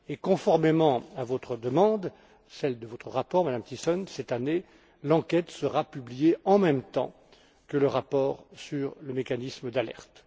Conformément à votre demande, celle de votre rapport, Madame Thyssen, cette année l'enquête sera publiée en même temps que le rapport sur le mécanisme d'alerte.